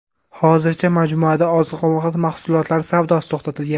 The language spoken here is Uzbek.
Hozircha majmuada oziq-ovqat mahsulotlari savdosi to‘xtatilgan.